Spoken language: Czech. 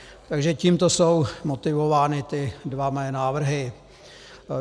Takže tímto jsou motivovány ty dva moje návrhy.